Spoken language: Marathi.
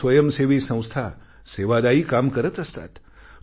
अनेक स्वयंसेवी संस्था सेवादायी काम करत असतात